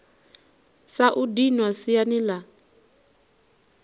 sa u dinwa siani la